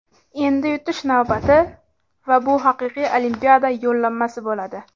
Endi yutish navbati... Va bu haqiqiy Olimpiada yo‘llanmasi bo‘ladi.